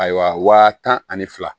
Ayiwa wa tan ani fila